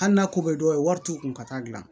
Hali n'a ko bɛ dɔw ye wari t'u kun ka taa dilan